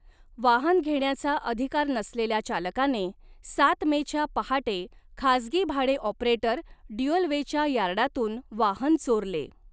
वाहन घेण्याचा अधिकार नसलेल्या चालकाने सात मे च्या पहाटे खासगी भाडे ऑपरेटर ड्युअलवेच्या यार्डातून वाहन चोरले.